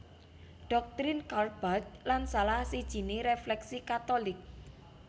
Doktrin Karl Barth lan salah sijiné refleksi Katolik